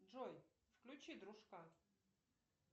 джой включи дружка